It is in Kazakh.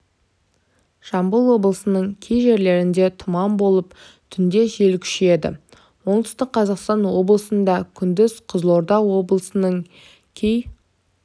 жамбыл облысының кей жерлерінде тұман болып түнде жел күшейеді оңтүстік қазақстан облысында күндіз қызылорда облысының кей